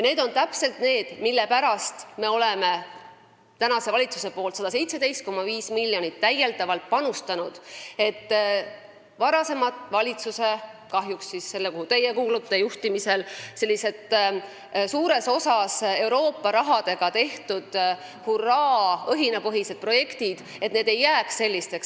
Need on täpselt need asjad, mille pärast on praegune valitsus täiendavalt panustanud 117,5 miljonit, et varasema valitsuse juhtimisel – selle, kuhu ka teie kuulusite – suuresti Euroopa rahadega tehtud hurraa- ja õhinapõhised projektid sellisteks ei jääks.